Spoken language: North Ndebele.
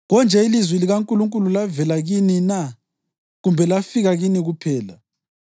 Konje ilizwi likaNkulunkulu lavela kini na? Kumbe lafika kini kuphela?